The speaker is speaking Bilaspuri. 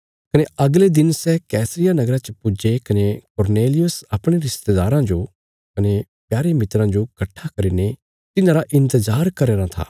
कने अगले दिन सै कैसरिया नगरा च पुज्जे कने कुरनेलियुस अपणे रिस्तेदाराँ जो कने प्यारे मित्रा जो कट्ठा करीने तिन्हांरा इन्तजार करया राँ था